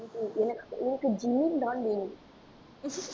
எனக்கு எனக்கு jean தான் வேணும்